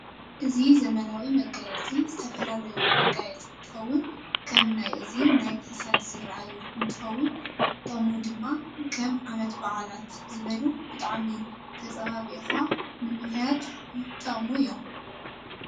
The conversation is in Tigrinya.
እዚ ዘመናዊ መጋየፂ ዝተፈላላዩ መጋየፂ እንትከውን ከም ናይ እዚን ናይ ክሳድ ዝርኣየሁ እንትከውን ጥቅሙ ድማ ከም ዓመት በዓላት ዝ በሉ ብጣዓሚ ተፃባብካ ንምክያድ ይጥቅሙ እዮም።